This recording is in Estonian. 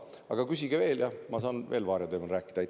Aga küsige veel ja siis ma saan veel varia teemal rääkida.